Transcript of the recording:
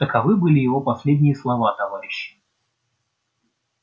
таковы были его последние слова товарищи